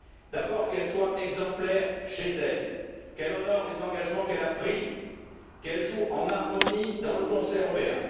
D'abord qu'elle soit exemplaire chez elle, qu'elle honore les engagements qu'elle a pris, qu'elle joue en harmonie dans le concert européen.